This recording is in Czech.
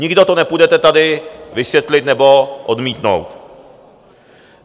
Nikdo to nepůjdete tady vysvětlit nebo odmítnout.